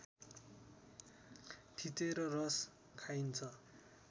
थिचेर रस खाइन्छ